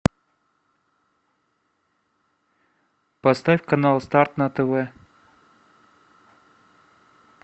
поставь канал старт на тв